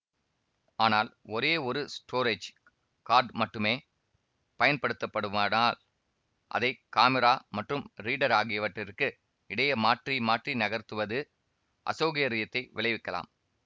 ஆனால் ஒரே ஒரு ஸ்டோரஜ் கார்ட் மட்டுமே பயனடுத்தப்படுமானால் அதை காமிரா மற்றும் ரீடர் ஆகியவற்றிற்கு இடையே மாற்றி மாற்றி நகர்த்துவது அசௌகரியத்தை விளைவிக்கலாம்